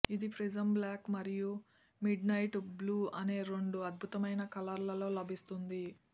ఇది prism black మరియు midnight blue అనే రెండు అద్భుతమైన కలర్ లలో లభిస్తుంది